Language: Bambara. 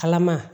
Kalama